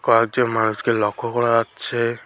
পাঁচজন মানুষকে লক্ষ করা যাচ্ছে।